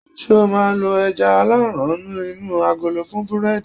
ṣe o ma lo aja alaran inu agolo fún burẹdi